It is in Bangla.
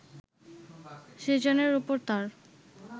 সেজানের ওপর তাঁর